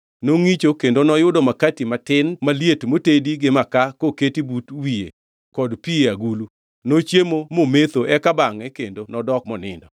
Nongʼicho kendo noyudo makati matin maliet motedi gi makaa koketi but wiye kod pi e agulu. Nochiemo mometho eka bangʼe kendo nodok monindo.